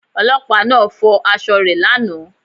Ọlọ́pàá náà fọ aṣọ rẹ̀ lánàá